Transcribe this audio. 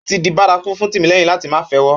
Ó ti di bárakú fún Tìmílẹ́yìn láti máa fẹ́wọ́